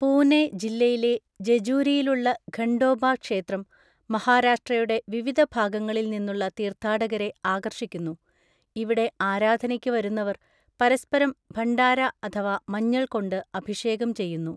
പൂനെ ജില്ലയിലെ ജെജൂരിയിലുള്ള ഖണ്ഡോബാ ക്ഷേത്രം മഹാരാഷ്ട്രയുടെ വിവിധ ഭാഗങ്ങളിൽ നിന്നുള്ള തീർത്ഥാടകരെ ആകർഷിക്കുന്നു; ഇവിടെ ആരാധനയ്ക്ക് വരുന്നവർ പരസ്പരം ഭണ്ഡാര അഥവാ മഞ്ഞൾ കൊണ്ട് അഭിഷേകം ചെയ്യുന്നു.